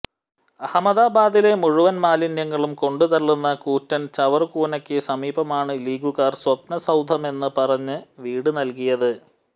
അഹമദാബാദിലെ മുഴുവൻ മാലിന്യങ്ങളും കൊണ്ടുതള്ളുന്ന കൂറ്റൻ ചവറുകൂനക്ക് സമീപമാണ് ലീഗുകാർ സ്വപ്ന സൌധമെന്ന് പറഞ്ഞ് വീട് നൽകിയത്